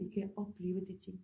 I kan opleve de ting